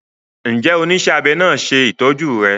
Njé onísé abé náa ṣe ìtọjú rè?